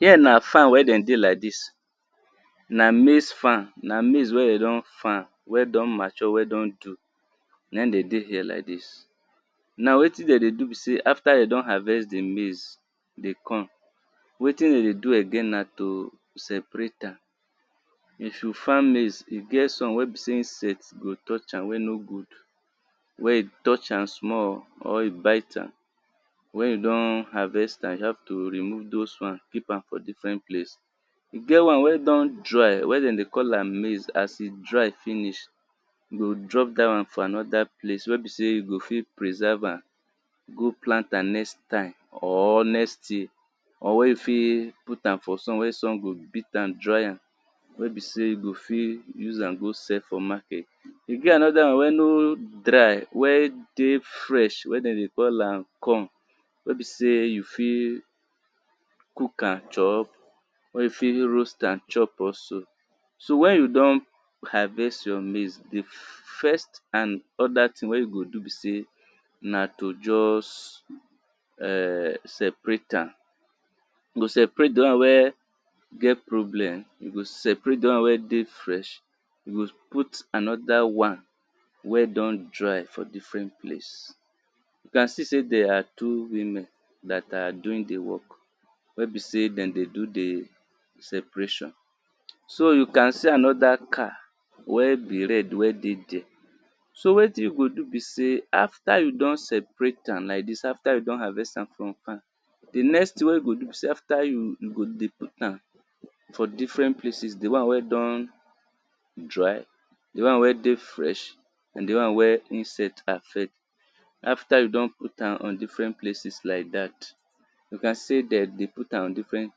Here na farm wen dem dey like dis. Na maize farm, na maize wen dem don farm wen don mature wen don do na im dem dey there like dis, na wetin dem dey do be sey, after dem don harvest di maize dey come, wetin dem dey do na to separate am, if you farm maize e get some wey be sey insect go touch am wen no good wen you touch am small or wen you bite am, wen you don harvest am you have to remove doz ones for different place, e get one wen don dry wen dem dey call am maize, as e dry finish you go drop dat one for another place wey be sey you go fit preserve am go plant am next time, or next thing or wen you go fit put am for sun wen sun go beat am dry am, wen be sey you go fit use am see for market. E get another one wey no dry wey fresh wen dem dey call am corn, wen be sey you fit cook am chop wen you fit roast am chop also. So wen you don harvest all your maize di first and oda things wey you go do be sey, na to just [urn] separate am, you go separate di one wen get problem you go separate di one wen dey fresh, you go put another one wen don dry for different place, you can see sey there are two women dat are doing di work wen be sey dem dey doo di separation. So you can see another car wey be red wey dey the r e. So wetin you go do be sey after you don separate am af ter you don harvest am from farm, di next thing wen you go do be you after you go dey put am for different places. Di one wen don dry, di one wen dey fresh and di one wen insect affect. After you don put am on different places like dat, you can see dem dey put am on different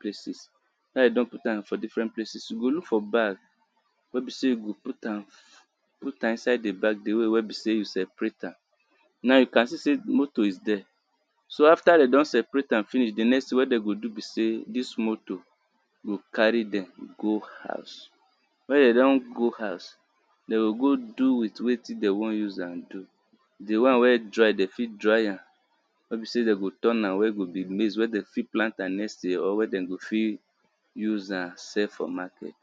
places after you don put am on different places you go look for bag, wen be sey you go put am, di way wey be sey you separate am, now you can see sey motor is there, so after dem don separate finish, di next thing wen dem go be be sey dis motor go carry dem go house, wen dem don go house, dem go go do with wetin dem wan use am do,. Di one wen don dry dem fit dry wen go be maize wen dem go plant am next year or wen dem fit use am sell for market.